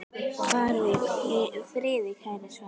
Far í friði, kæri Svenni.